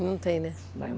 Não tem, né?